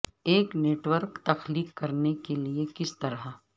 ایک network تخلیق کرنے کے لئے کس طرح